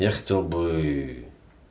я хотел бы